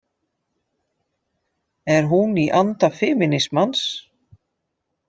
Er hún í anda femínismans?